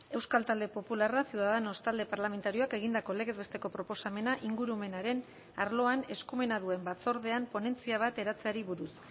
euskal talde popularra ciudadanos talde parlamentarioak egindako legez besteko proposamena ingurumenaren arloan eskumena duen batzordean ponentzia bat eratzeari buruz